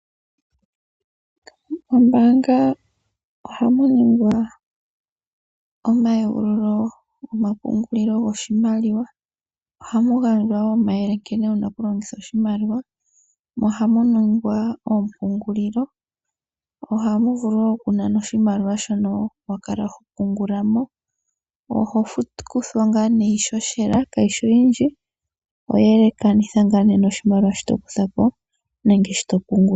Mombaanga ohamu ningwa omayegululo gomapungulilo goshimaliwa. Ohamu gandjwa wo omayele nkene wu na okulongitha oshimaliwa mo ohamu ningwa oompungulilo. Ohamu vulu okunanwa oshimaliwa shono wa kala ho pungula mo. Oho kuthwa ngaa nee iihohela kayi shi oyindji oye elaha ngaa noshimaliwa shi to kutha po nenge to pungula.